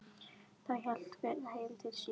Þá hélt hver heim til sín.